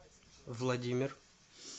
владимир